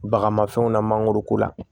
Bagamafɛnw na mangoro ko la